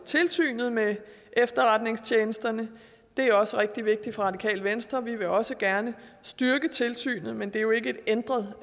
tilsynet med efterretningstjenesterne det er også rigtig vigtigt for radikale venstre vi vil også gerne styrke tilsynet men det er jo ikke et ændret